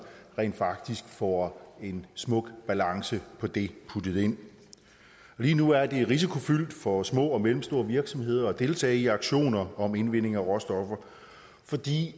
rent faktisk får en smuk balance på det puttet ind lige nu er det risikofyldt for små og mellemstore virksomheder at deltage i auktioner om indvinding af råstoffer fordi